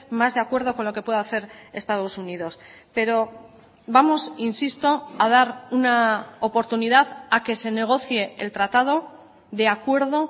más de acuerdo con lo que puede hacer estados unidos pero vamos insisto a dar una oportunidad a que se negocie el tratado de acuerdo